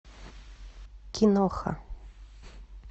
киноха